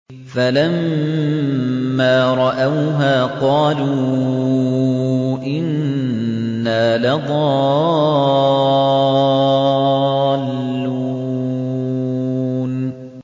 فَلَمَّا رَأَوْهَا قَالُوا إِنَّا لَضَالُّونَ